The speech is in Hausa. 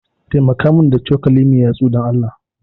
Taimaka min da cokali mai yatsu, Dan Allah.